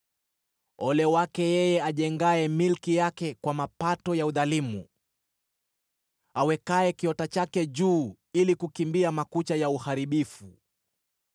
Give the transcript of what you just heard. “Ole wake yeye ajengaye milki yake kwa mapato ya udhalimu, awekaye kiota chake juu, ili kukimbia makucha ya uharibifu!